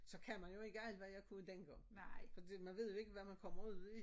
Så kan man jo ikke alt hvad jeg kunne dengang fordi man ved jo ikke hvad man kommer ud i